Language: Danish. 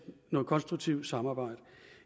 noget konstruktivt samarbejde